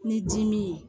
Ni dimi ye